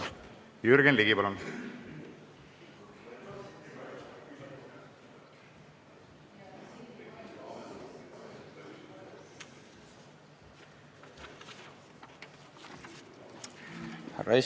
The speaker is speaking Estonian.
Jürgen Ligi, palun!